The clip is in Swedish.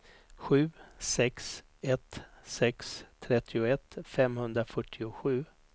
sju sex ett sex trettioett femhundrafyrtiosju